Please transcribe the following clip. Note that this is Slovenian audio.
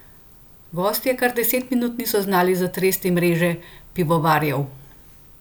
Gostje kar deset minut niso znali zatresti mreže pivovarjev.